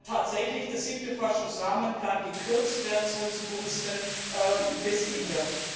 tatsächlich der siebte Forschungsrahmenplan gekürzt werden soll zugunsten des ITER.